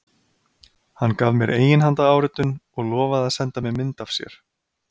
Hann gaf mér eiginhandaráritun og lofaði að senda mér mynd af sér.